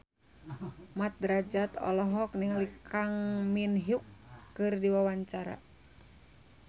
Mat Drajat olohok ningali Kang Min Hyuk keur diwawancara